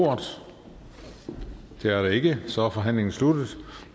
ordet det er der ikke så er forhandlingen sluttet